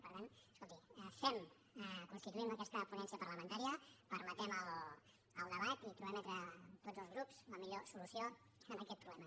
per tant escolti fem constituïm aquesta ponència parlamentària permetem el debat i trobem entre tots els grups la millor solució a aquest problema